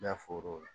N'a fɔr'o ye